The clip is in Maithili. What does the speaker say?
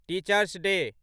teachers day